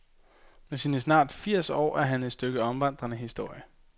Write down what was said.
Med sine snart firs år er han et stykke omvandrende historie.